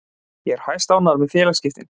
Ég er hæstánægður með félagaskiptin.